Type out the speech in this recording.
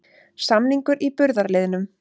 Samningur í burðarliðnum